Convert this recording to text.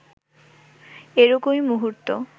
এরকমই মুহূর্ত